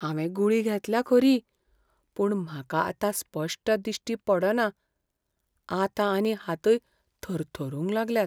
हांवें गुळी घेतल्या खरी, पूण म्हाका आतां स्पश्ट दिश्टी पडना आतां आनी हातय थरथरूंक लागल्यात.